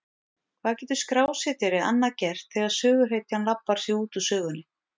Hvað getur skrásetjari annað gert þegar söguhetjan labbar sig út úr sögunni?